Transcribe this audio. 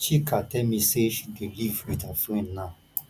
chika tell me say she dey live with her friend now